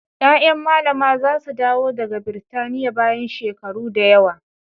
Ƴaƴan Mallama za su dawo daga Birtaniya bayan shekaru da yawa.